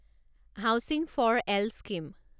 housing for all scheme